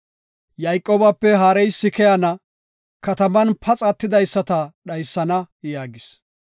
Yayqoobape haareysi keyana; kataman paxa attidaysata dhaysana” yaagis.